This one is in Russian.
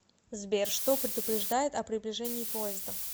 сбер что предупреждает о приближении поезда